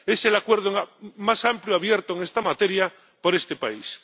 Es el acuerdo más amplio abierto en esta materia por este país.